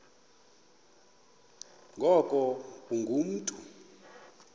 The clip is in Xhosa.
ngoku ungu mntu